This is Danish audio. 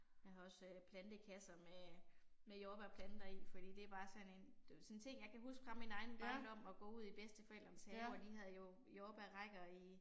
Jeg har også plantekasser med med jordbærplanter i, fordi det er bare sådan en sådan en ting jeg kan huske fra min egen barndom at gå ud i bedsteforældrenes have og de havde jo jordbærrækker i